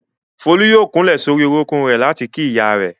Folú yóò kúnlẹ̀ sórí orúnkún rẹ̀ láti kí ìyá rẹ̀.